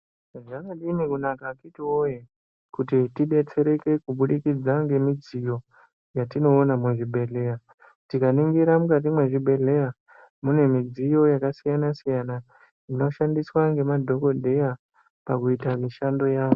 Zvakadini kunaka akhiti woye kuti tidetsereke kubudikidza ngemidziyo yatinoona muzvibhedhleya. Tikaningira mukati mwezvibhedhleya mune midziyo yakasiyana-siyana, inoshandiswa ngemadhokodheya pakuita mishando yavo.